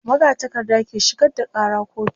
magatakarda ke shigar da Kara kotu